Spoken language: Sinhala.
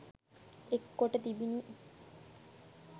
එක් කොට තිබිණි.